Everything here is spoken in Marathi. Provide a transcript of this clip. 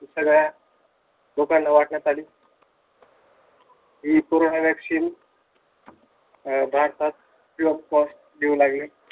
सगळ्या जो लोकांना वाटण्यात आली हि कोरोना वॅक्सीन अह भारतात free of cost देऊ लागले.